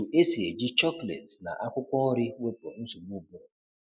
Otu esi eji chocolate na akwụkwọ nri wepụ nsogbu ụbụrụ